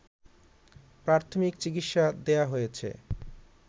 প্রাথমিক চিকিৎসা দেয়া হয়েছে